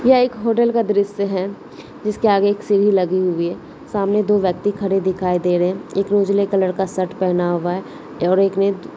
यह एक होटल का दृश्य है जिस के आगे एक सीडी लगी हुई है सामने दो व्यक्ति खड़े दिखाई दे रहे है एक रोसेले कलर का शर्ट पहेना हुआ है और एक ने --